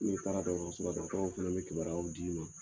N'i taara dɔgɔtɔrɔso la dɔgɔtɔrɔw fana bɛ kibariyaw d'i ma.